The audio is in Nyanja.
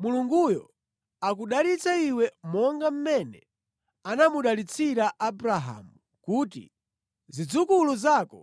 Mulunguyo akudalitse iwe monga mmene anamudalitsira Abrahamu kuti zidzukulu zako